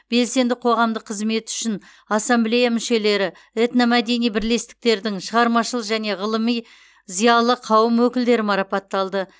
белсенді қоғамдық қызметі үшін ассамблея мүшелері этномәдени бірлестіктердің шығармашыл және ғылыми зиялы қауым өкілдері марапатталды